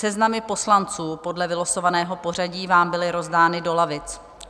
Seznamy poslanců podle vylosovaného pořadí vám byly rozdány do lavic.